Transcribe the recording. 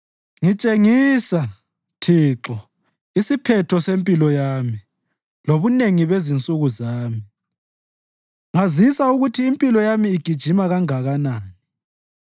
“Ngitshengisa, Thixo, isiphetho sempilo yami lobunengi bezinsuku zami; ngazisa ukuthi impilo yami igijima kanganani.